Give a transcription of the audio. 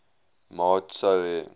maat sou hê